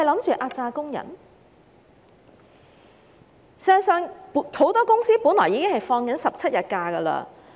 事實上，很多公司僱員一直放取17天假期。